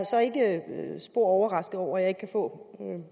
så ikke spor overrasket over at jeg ikke kan få noget